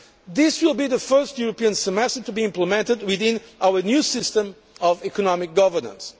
This will be the first European semester to be implemented within our new system of economic governance.